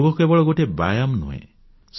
ଯୋଗ କେବଳ ଗୋଟିଏ ବ୍ୟାୟାମ ନୁହେଁ